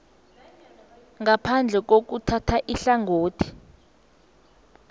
ngaphandle kokuthatha ihlangothi